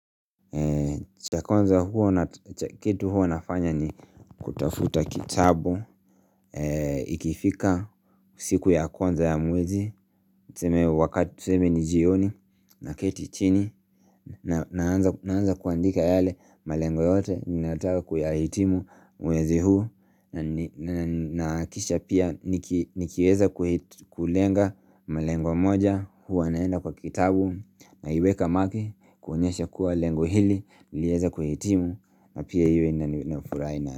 Cha kwanza hua na ch kitu hua nafanya ni kutafuta kitabu Ikifika siku ya kwanza ya mwezi Tseme wakati tseme ni jioni na ketichini nanaanza Naanza kuandika yale malengo yote Ninataka kuyahitimu mwezi huu na ni na ni nakisha pia niki nikieza kui kulenga mlengo moja Hua naenda kwa kitabu naiweka maki kuonyesha kuwa lengo hili lieze kuhitimu na pia hiyo inani nafuraina.